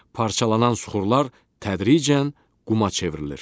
Parçalanan süxurlar tədricən quma çevrilir.